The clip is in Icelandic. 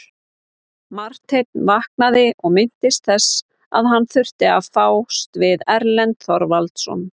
Marteinn vaknaði og minntist þess að hann þurfti að fást við Erlend Þorvarðarson.